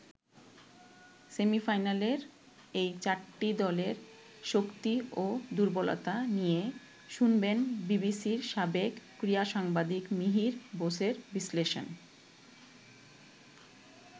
সেমিফাইনালের এই চারটি দলের শক্তি ও দুর্বলতা নিয়ে শুনবেন বিবিসির সাবেক ক্রীড়া সাংবাদিক মিহির বোসের বিশ্লেষণ।